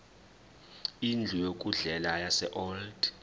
indlu yokudlela yaseold